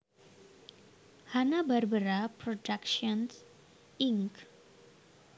Hanna Barbera Productions Inc